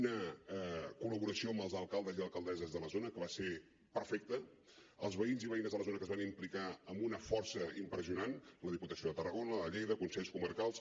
una col·laboració amb els alcaldes i alcaldesses de la zona que va ser perfecta els veïns i veïnes de la zona que s’hi van implicar amb una força impressionant la diputació de tarragona la de lleida consells comarcals